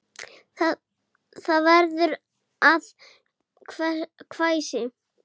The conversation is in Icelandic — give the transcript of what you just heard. Það verður að hvæsi.